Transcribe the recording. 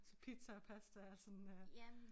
Så pizza og pasta og sådan øh